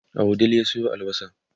a wudil ya Sayo albasa